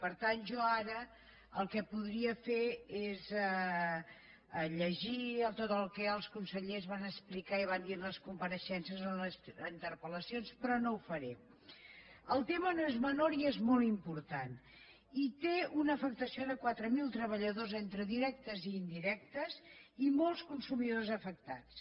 per tant jo ara el que podria fer és llegir tot el que els consellers van explicar i van dir en les compareixences o en les interpel·el tema no és menor i és molt important i té una afectació de quatre mil treballadors entre directes i indirectes i molts consumidors afectats